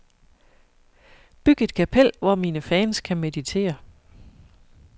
Byg et kapel, hvor mine fans kan meditere.